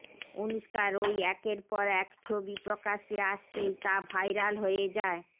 অনুষ্কার ওই একের পর এক ছবি প্রকাশ্যে আসতেই তা ভাইরাল হয়ে যায়